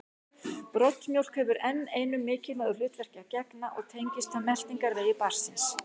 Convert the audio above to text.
Broddmjólk hefur enn einu mikilvægu hlutverki að gegna og tengist það meltingarvegi barnsins.